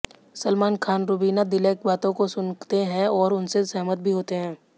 सलमान खान रूबीना दिलैक बातों को सुनते हैं और उनसे सहमत भी होते हैं